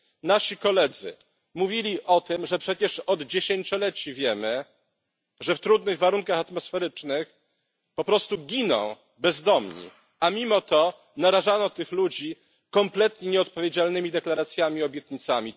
Nasi koledzy mówili o tym, że przecież od dziesięcioleci wiemy, że w trudnych warunkach atmosferycznych po prostu giną bezdomni, a mimo to narażano tych ludzi kompletnie nieodpowiedzialnymi deklaracjami i obietnicami.